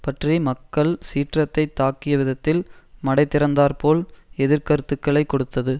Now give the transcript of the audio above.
பற்றி மக்கள் சீற்றத்தைத் தாக்கியவிதத்தில் மடை திறந்தாற்போல் எதிர்க்கருத்துக்களை கொடுத்தது